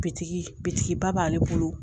Bitigi bitigi ba b'ale bolo